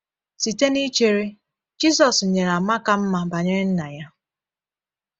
Site n’ichere, Jisus nyere àmà ka mma banyere Nna ya.